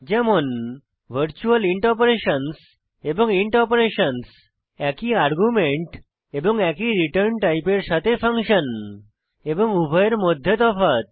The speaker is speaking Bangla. যেমন ভারচুয়াল ইন্ট অপারেশনসহ এবং ইন্ট অপারেশনসহ একই আর্গুমেন্ট এবং একই রিটার্ন টাইপের সাথে ফাংশন এবং উভয়ের মধ্যে তফাৎ